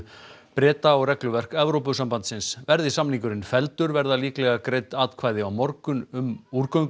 Breta og regluverk Evrópusambandsins verði samningurinn felldur verða líklega greidd atkvæði á morgun um